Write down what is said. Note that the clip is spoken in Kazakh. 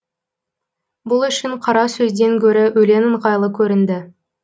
бұл үшін қара сөзден гөрі өлең ыңғайлы көрінді